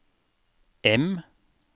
M